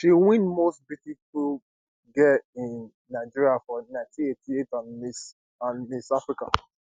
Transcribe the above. she win most beautiful girl in nigeria for 1988 and miss and miss africa